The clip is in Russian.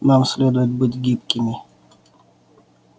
нам следует быть гибкими